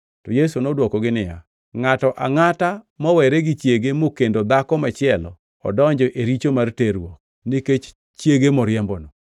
To Yesu nodwokogi niya, “Ngʼato angʼata mowere gi chiege mokendo dhako machielo odonjo e richo mar terruok nikech chiege moriembono.